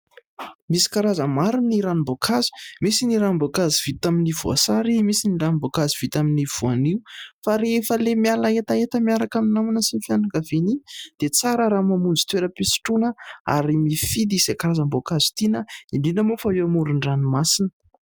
Misy karazany maro ny ranomboankazo ; misy ny ranomboankazo vita amin'ny voasary, misy ny ranomboankazo vita amin'ny voanio, fa rehefa le miala hetaheta miaraka amin'ny namana sy ny fianakaviana iny, dia tsara raha mamonjy toera-pisotroana ary mifidy izay karazam-boankazo tiana, indrindra moa fa eo amoron'ny ranomasina.